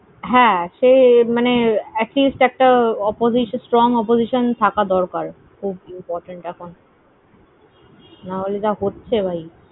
হ্যাঁ, সে মানে at least একটা oppo~ strong opposotion থাকা দরকার। খুব important এখন। না হলে যা হচ্ছে।